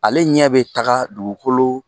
Ale ɲɛ bɛ taga dugukolo